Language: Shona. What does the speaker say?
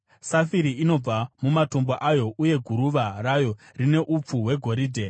safire inobva mumatombo ayo, uye guruva rayo rine upfu hwegoridhe,